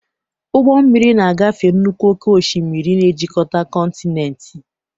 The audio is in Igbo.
Ụgbọ mmiri na-agafe nnukwu oke osimiri, na-ejikọta kọntinent.